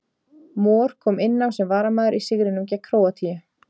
Mor kom inn á sem varamaður í sigrinum gegn Króatíu.